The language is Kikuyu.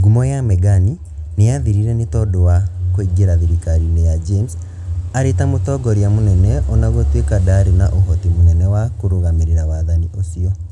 Ngumo ya Megani nĩ yaathirire nĩ tondũ wa kũingĩra thirikari-inĩ ya James arĩ ta mũtongoria mũnene ona gũtuĩka ndaarĩ na ũhoti mũnene wa kũrũgamĩrĩra wathani ũcio.